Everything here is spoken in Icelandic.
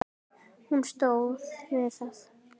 Hún stóð við það!